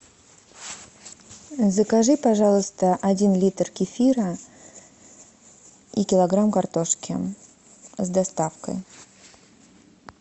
закажи пожалуйста один литр кефира и килограмм картошки с доставкой